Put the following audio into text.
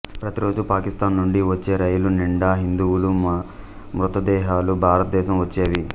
ప్రతిరోజు పాకిస్తాన్ నుండి వచ్చే రైలు నిండా హిందువుల మృతదేహాలు భారతదేశం వచ్చేవి